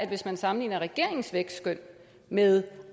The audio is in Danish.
hvis man sammenligner regeringens vækstskøn med